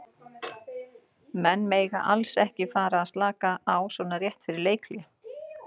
Menn mega alls ekki að fara að slaka á svona rétt fyrir leikhlé.